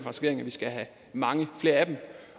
regering at vi skal have mange flere af dem